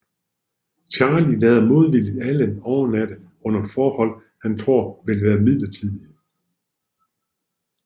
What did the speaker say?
Charlie lader modvilligt Alan overnatte under forhold han tror vil være midlertidige